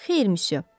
Xeyr, müsyö.